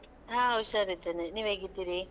ಹಾ, ಹುಷಾರಿದ್ದೇನೆ ನೀವ್ ಹೇಗಿದ್ದೀರಾ?